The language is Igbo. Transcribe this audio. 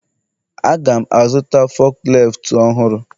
Aga'm azụta fukleeftu ọhụrụ